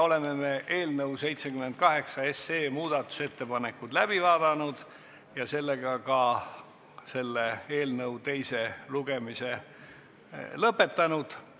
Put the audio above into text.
Oleme eelnõu 78 mudatusettepanekud läbi vaadanud ja ka eelnõu teise lugemise lõpetanud.